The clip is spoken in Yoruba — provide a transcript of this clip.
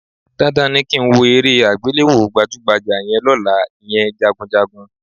Dandan ni kí n wo eré àgbéléwò gbàjúgbajà yẹn lọ́la, ìyẹn Jagunjagun